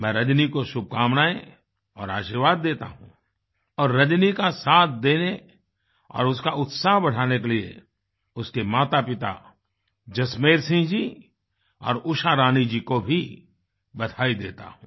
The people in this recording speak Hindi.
मैं रजनी को शुभकामनाएँ और आशीर्वाद देता हूँ और रजनी का साथ देने और उसका उत्साह बढ़ाने के लिए उसकेमातापिता जसमेर सिंह जी और उषारानी जी को भी बधाई देता हूँ